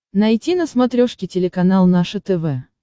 найти на смотрешке телеканал наше тв